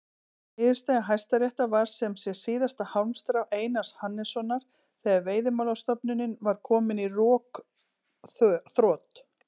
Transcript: Niðurstaða Hæstaréttar var sem sé síðasta hálmstrá Einars Hannessonar þegar Veiðimálastofnunin var komin í rökþrot.